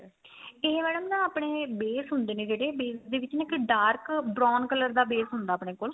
ਇਹ madam ਨਾ ਆਪਣੇ base ਹੁੰਦੇ ਨੇ ਜਿਹੜੇ base ਦੇ ਵਿੱਚ ਨਾ ਇੱਕ dark brown color ਦਾ base ਹੁੰਦਾ ਆਪਣੇ ਕੋਲ